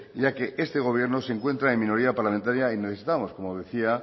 ya que este gobierno se encuentra en minoría parlamentaria y necesitamos como decía